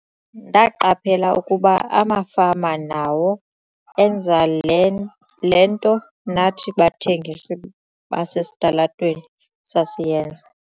"Ndaqaphela ukuba amafama nawo enza le le nto nathi bathengisi basesitalatweni sasiyenza."